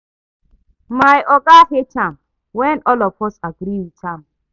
My oga hate am when all of us agree with am